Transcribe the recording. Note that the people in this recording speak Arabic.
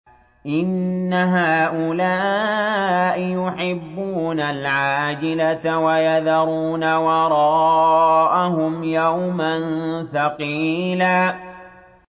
إِنَّ هَٰؤُلَاءِ يُحِبُّونَ الْعَاجِلَةَ وَيَذَرُونَ وَرَاءَهُمْ يَوْمًا ثَقِيلًا